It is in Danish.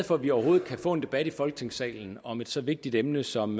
for at vi overhovedet kan få en debat i folketingssalen om et så vigtigt emne som